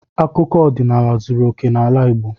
Akụkọ ọdịnala zuru okè n'ala Igbo.